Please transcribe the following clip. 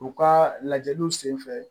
U ka lajɛliw senfɛ